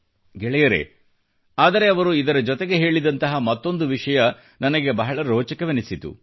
ಗೆಳೆಯರೇ ಆದರೆ ಅವರು ಇದರ ಜೊತೆಗೆ ಹೇಳಿದಂತಹ ಮತ್ತೊಂದು ವಿಷಯ ನನಗೆ ಬಹಳ ರೋಚಕವೆನಿಸಿತು